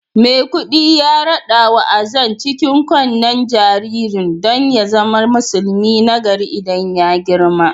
Maikudi ya radawa Azan cikin kunnen jaririn don ya zama musulmi nagari idan ya girma